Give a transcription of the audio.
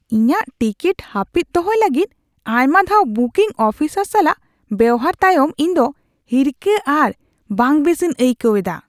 ᱤᱧᱟᱜ ᱴᱤᱠᱤᱴ ᱦᱟᱹᱯᱤᱫ ᱫᱚᱦᱚᱭ ᱞᱟᱹᱜᱤᱫ ᱟᱭᱢᱟ ᱫᱷᱟᱣ ᱵᱩᱠᱤᱝ ᱚᱯᱷᱤᱥᱟᱨ ᱥᱟᱞᱟᱜ ᱵᱮᱣᱦᱟᱨ ᱛᱟᱭᱚᱢ ᱤᱧ ᱫᱚ ᱦᱤᱨᱠᱷᱟᱹ ᱟᱨ ᱵᱟᱝᱵᱮᱥᱤᱧ ᱟᱹᱭᱠᱟᱹᱣ ᱮᱫᱟ ᱾